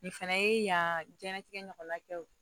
Nin fana ye yan diɲɛlatigɛ ɲɔgɔnna kɛ o